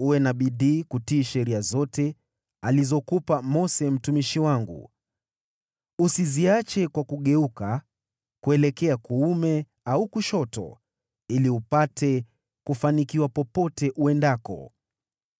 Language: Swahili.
Uwe na bidii kutii sheria yote aliyokupa Mose mtumishi wangu, usiiache kwa kugeuka kuelekea kuume au kushoto, ili upate kufanikiwa popote uendako.